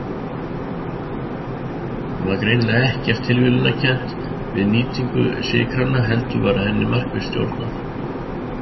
Það var greinilega ekkert tilviljunarkennt við nýtingu sykranna heldur var henni markvisst stjórnað.